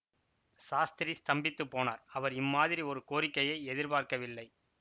சாஸ்திரி ஸ்தம்பித்துப் போனார் அவர் இம்மாதிரி ஒரு கோரிக்கையை எதிர்பார்க்கவில்லை